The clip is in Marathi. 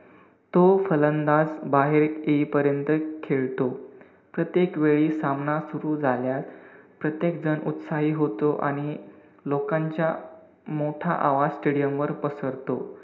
तो फलंदाज बाहेर येईपर्यंत खेळतो. प्रत्येक वेळी सामना सुरु झाल्यास, प्रत्येक जण उत्साही होतो आणि लोकांच्या मोठा आवाज stadium वर पसरतो.